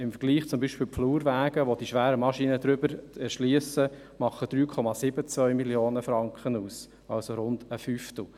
Im Vergleich zum Beispiel zu den Flurwegen, über welche die schweren Maschinen erschliessen – diese machen 3,72 Mio. Franken aus, also rund ein Fünftel.